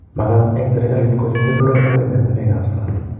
Magat eng' serikalot kocheng keturek akoi emetinwek ab sang'